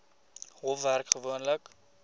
hof werk gewoonlik